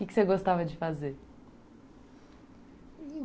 O que você gostava de fazer?